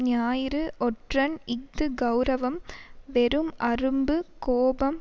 ஞாயிறு ஒற்றன் இஃது கெளரவம் வெறும் அரும்பு கோபம்